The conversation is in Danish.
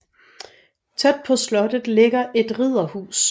Tæt på slottet ligger et ridderhus